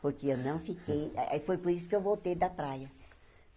Porque eu não fiquei... Aí foi por isso que eu voltei da praia.